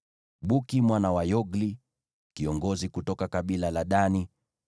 Buki mwana wa Yogli, kiongozi kutoka kabila la Dani;